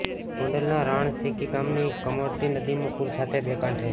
ગોંડલના રાણસીકી ગામની કમોતડી નદીમાં પુર સાથે બે કાંઠે